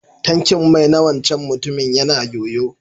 Tankin mai na wancan mutumin ya na yoyo.